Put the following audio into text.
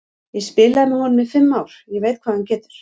Ég spilaði með honum í fimm ár, ég veit hvað hann getur.